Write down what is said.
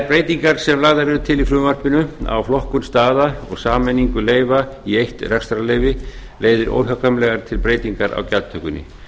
breytingar sem lagðar eru til í frumvarpinu á flokkun staða og sameiningu leyfa í eitt rekstrarleyfi leiðir óhjákvæmilega til breytingar á gjaldtökunni